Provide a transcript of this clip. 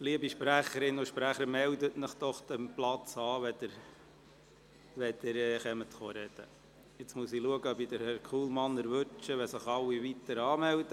Liebe Sprecherinnen und Sprecher, melden Sie sich bitte von Ihrem Platz aus an, wenn Sie sprechen wollen.